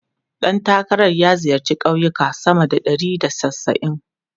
Ɗan takarar ya ziyarci kauyuka sama da ɗari da casa'in.